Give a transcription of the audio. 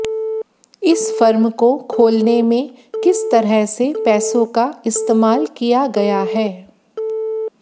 इस फर्म को खोलने में किस तरह से पैसों का इस्तेमाल किया गया है